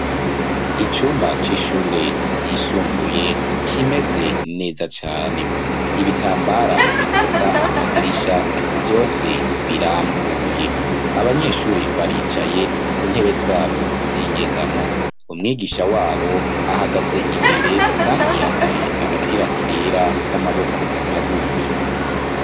Icumba c’ishure ryisumbuye kimeze neza cane ,ibitambara bipfuka amadirisha vyose birambuye ,abanyeshure baricaye ku ntebe zabo z’inyegamo ,umwigisha wabo ahagaze imbere kandi yambaye agapira kera k’amaboko magufi.